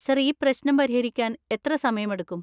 Sir, ഈ പ്രശ്നം പരിഹരിക്കാൻ എത്ര സമയമെടുക്കും?